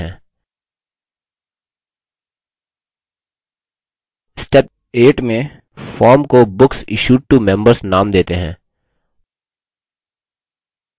step 8 में form को books issued to members name देते हैं